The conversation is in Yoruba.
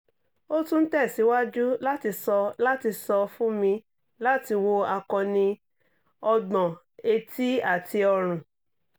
o tun n tẹsiwaju lati sọ lati sọ fun mi lati wo akọni-ọgbọn eti ati ọrun